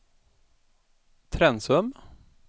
Trensum